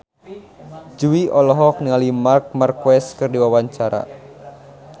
Jui olohok ningali Marc Marquez keur diwawancara